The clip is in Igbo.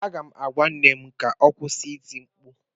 M ga-agwa nne m ka ọ kwụsị ịti mkpu